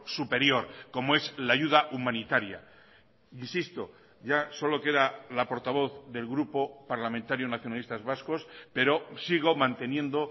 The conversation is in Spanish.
superior como es la ayuda humanitaria insisto ya solo queda la portavoz del grupo parlamentario nacionalistas vascos pero sigo manteniendo